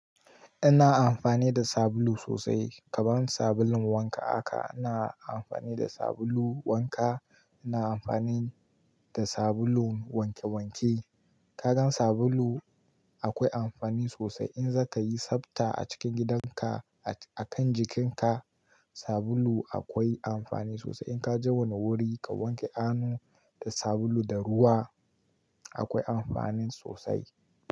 Ina amfani da sabulu sosai. Kaman sabulun wanka haka, ina amfani da sabulu wanka, ina amfani da sabulu wanke wanke. Kagan sabulu akwai amfani sosai. In za ka yi sabta a cikin gidan ka, a kan jikin ka, sabulu akwai amfani sosai. In ka je wani wuri ka wanke hannu da sabulu da ruwa, akwai amfanin sosai.